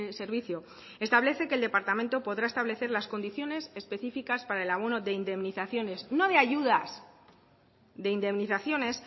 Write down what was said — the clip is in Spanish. servicio establece que el departamento podrá establecer las condiciones específicas para el abono de indemnizaciones no de ayudas de indemnizaciones